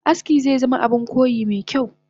Aski zezama Abun koyi mekyau